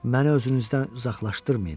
Məni özünüzdən uzaqlaşdırmayın.